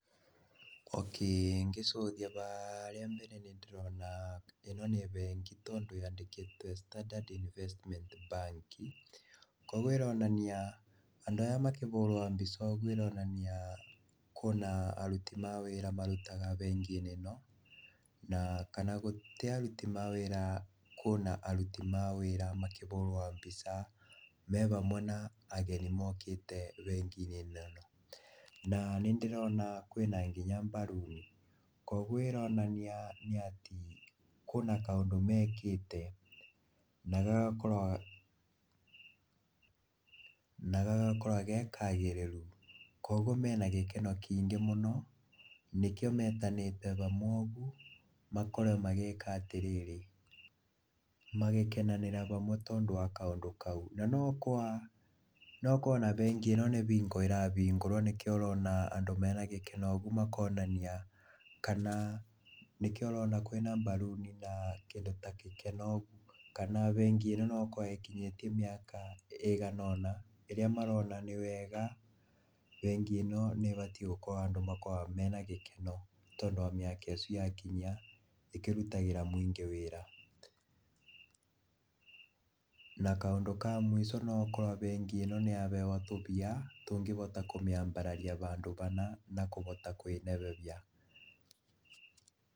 Okay, ngĩrora harĩa mbere nĩndĩrona ĩno nĩ bengi tondũ yandĩkĩtwe Standard Investment Bank, kwoguo ĩronania andũ aya makĩhũrũa mbica ũgu ĩronania kũna aruti a wĩra marutaga benginĩ ĩno kana gũtĩ aruti awĩra kũna aruti mawĩra makĩhũrũa mbica mehamwo na ageni mokĩte benginĩ ĩno, na nĩndĩrona kwĩna nginya baruni, kwoguo ĩronania atĩ kũna kaũndũ mekĩte nagagakorwa gekagĩrĩru, kwoguo mena gekeno kingĩ mũno nĩkĩo metanĩte hamwe ũgu, makorwo magĩka atĩrĩrĩ magĩkenanĩra hamwe tondũ wa kaũndũ kaũ, na nogũkorwa ona bengi ĩno nĩ bingo ĩrahĩngũrwo nĩkĩo ũrona andũ mena gĩkeno ũgu makonania kana nĩkĩo ũrona kwĩna baruni na kĩndũ ta gĩkeno ũgu kana bengi ĩno nogũkorwe ĩkinyĩtie mĩaka ĩgana ũna ĩrĩa marona nĩwega bengi ĩno nĩbatie gũkorwa andũ menagĩkeno tondũ wa mĩaka ĩcu yakinyia ĩkĩrutagĩra mũingĩ wĩra, na kaũndũ ka mwico noũkorwa bengi ĩno nĩahewa tũmbia tũngĩhota kũmĩambararia handũ hana na kũhota kwĩnenehia.